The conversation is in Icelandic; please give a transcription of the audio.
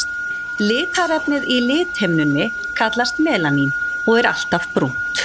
Litarefnið í lithimnunni kallast melanín og er alltaf brúnt.